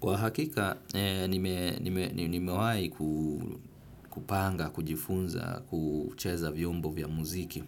Kwa hakika, nimewai kupanga kujifunza kucheza vyombo vya muziki.